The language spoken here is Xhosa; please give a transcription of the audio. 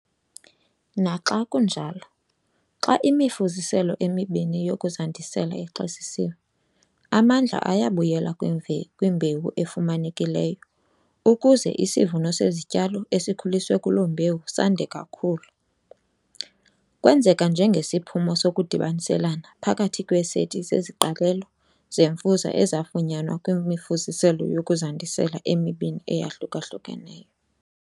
Naxa kunjalo, xa imifuziselo emibini yokuzandisela ixwesisiwe, amandla ayabuyela kwimbewu efumanekileyo ukuze isivuno sezityalo esikhuliswe kuloo mbewu sande kakhulu. Kwenzeka njengesiphumo sokudibaniselana phakathi kweeseti zeziqalelo zemfuza ezifunyanwa kwimifuziselo yokuzandisela emibini eyahluka-hlukeneyo.